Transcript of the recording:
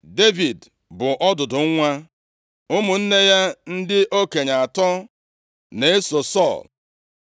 Devid bụ ọdụdụ nwa. Ụmụnne ya ndị okenye atọ na-eso Sọl.